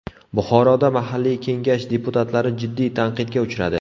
Buxoroda mahalliy Kengash deputatlari jiddiy tanqidga uchradi.